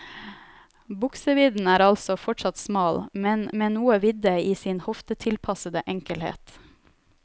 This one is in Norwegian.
Buksevidden er altså fortsatt smal, men med noe vidde i sin hoftetilpassede enkelhet.